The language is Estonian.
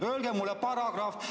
Öelge mulle paragrahv.